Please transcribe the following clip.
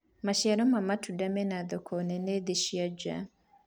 maciaro ma matunda mena thoko nene thi-inĩ na njaa